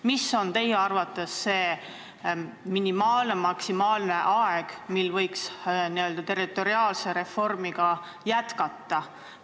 Mis on teie arvates see minimaalne või maksimaalne aeg, mille möödumisel võiks territoriaalset reformi jätkata?